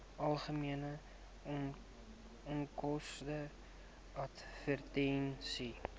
algemene onkoste advertensies